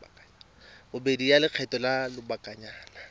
bobedi ya lekgetho la lobakanyana